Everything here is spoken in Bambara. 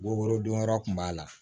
Worodon yɔrɔ kun b'a la